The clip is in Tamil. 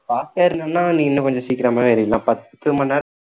fast டா ஏறுணும்னா நீ இன்னும் கொஞ்சம் சீக்கிரமாவே ஏறிடலாம் பத்து மணி நேரம்